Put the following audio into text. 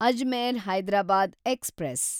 Ajmer Hyderabad express